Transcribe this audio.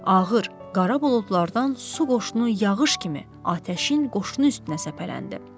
Ağır qara buludlardan su qoşunu yağış kimi atəşin qoşunu üstünə səpələndi.